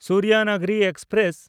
Suryanagri express